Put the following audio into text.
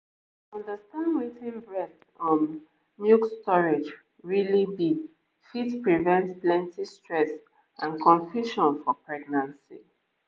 to understand wetin breast from milk storage really be fit prevent plenty stress and confusion for pregnancy